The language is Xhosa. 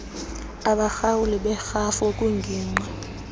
abahlawuli berhafu kwingingqi